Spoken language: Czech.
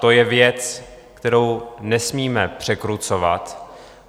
To je věc, kterou nesmíme překrucovat.